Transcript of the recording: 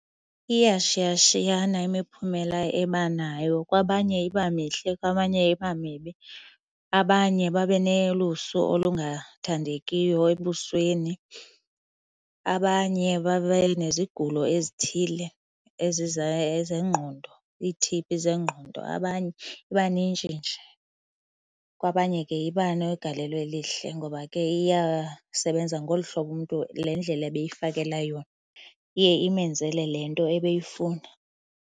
Iyashiyashiyana imiphumela ebanayo. Kwabanye iba mihle, kwabanye iba mibi. Abanye babe nolusu olungathandekiyo ebusweni abanye babe nezigulo ezithile zengqondo, ii-T_B zengqondo, abanye iba nintshi nje. Kwabanye ke iba negalelo elihle ngoba ke iyasebenza ngolu hlobo umntu le ndlela ebeyifakela yona. Iye imenzele le nto ebeyifuna.